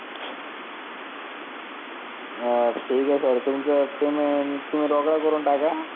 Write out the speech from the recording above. हा ठिके सर तुमचा पेमेंट तुम्ही लोकडा करून टाका